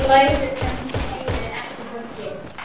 Hélt ég kannski að ég kæmist eitthvað með hana?